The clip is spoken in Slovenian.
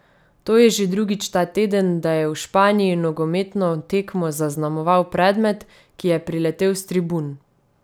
To je že drugič ta teden, da je v Španiji nogometno tekmo zaznamoval predmet, ki je priletel s tribun.